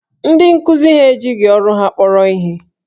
Ndị nkuzi ha ejighi ọrụ ha kpọrọ ihe